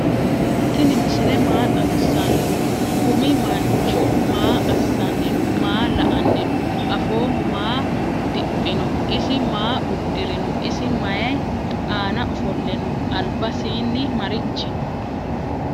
tini misile maa xaawisano? kumi manchu maa asani no?maa la"ani no?affoho maa diphino? isi maa udirino? isi mayi anna offole no?albasini marichi no?